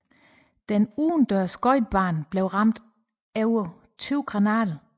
Den udendørs skøjtebane blev ramt af over 20 granater